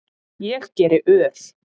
Ég geri ör